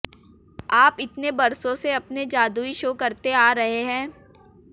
आप इतने बरसों से अपने जादुई शो करते आ रहे हैं